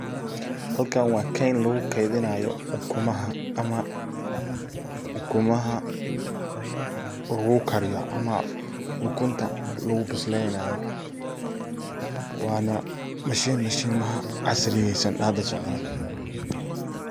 Halkan waa keyn lagu keydinayo ukumaha ,ukumaha lagu kariyo ama ukunta lagu bislenayo waana mashin mashimaha casriyeysan ee hada socdan.